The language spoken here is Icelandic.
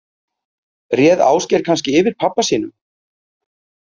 Réð Ásgeir kannski yfir pabba sínum?